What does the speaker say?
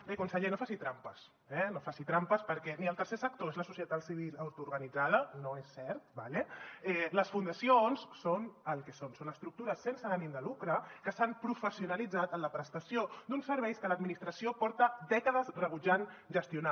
bé conseller no faci trampes eh no faci trampes perquè ni el tercer sector és la societat civil autoorganitzada no és cert d’acord les fundacions són el que són són estructures sense ànim de lucre que s’han professionalitzat en la prestació d’uns serveis que l’administració porta dècades rebutjant gestionar